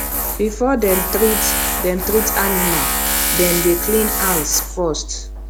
before dem treat dem treat animal dem dey clean hands first